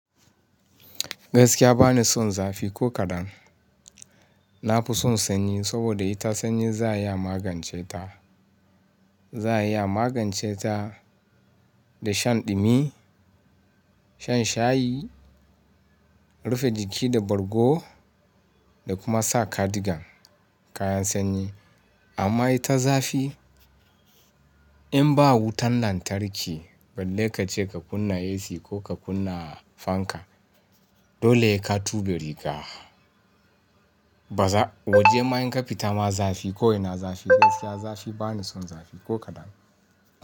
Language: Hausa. Gaskiya ba ni son zafi ko kaɗan. Na fi son sanyi saboda ita sanyi za ya magance ta. Za'a iya magance ta da shan ɗumi, shan shayi, rufe jiki da borgo da kuma sa cardigan kayan sanyi. Amma ita zafi in ba wutan lantarki balle ka ce ka kunna AC ko ka kunna fanka dole ya ka tuɓe riga. Baza, waje ma in ka fita ma zafi ko ina zafi gaskiya zafi ba ni son zafi ko kaɗan.